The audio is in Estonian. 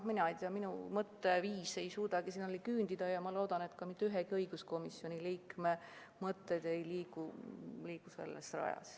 Mina ei tea, minu mõtteviis ei suuda selleni küündida ja ma loodan, et mitte ühegi teise õiguskomisjoni liikme mõtted ei liigu sellel rajal.